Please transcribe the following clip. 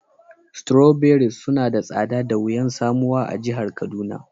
Strawberries suna da tsada da wiyan samuwa a'jihar Kaduna.